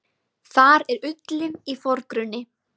Þar er ullin í forgrunni.